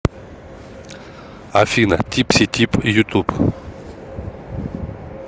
афина типси тип ютуб